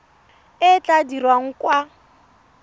e e tla dirwang kwa